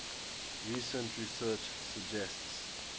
recent research suggests